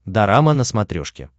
дорама на смотрешке